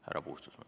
Härra Puustusmaa.